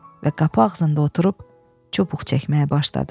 Və qapı ağzında oturub çubuq çəkməyə başladı.